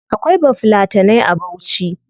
Akwai bafulatanai a bauchi